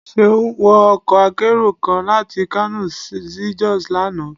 seun wọ ọkọ akerò kán latí kano sí jos lana.